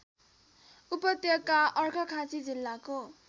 उपत्यका अर्घाखाँची जिल्लाको